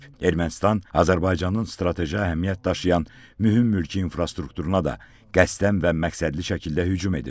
Ermənistan Azərbaycanın strateji əhəmiyyət daşıyan mühüm mülki infrastrukturuna da qəsdən və məqsədli şəkildə hücum edib.